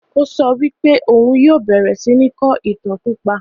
O so wí pé òhun yìí ó bẹ̀rẹ̀ síí ni kọ́ ìtàn pípa